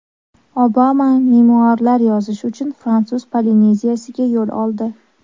Obama memuarlar yozish uchun Fransuz Polineziyasiga yo‘l oldi.